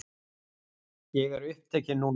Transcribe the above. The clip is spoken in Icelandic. Ég er upptekinn núna.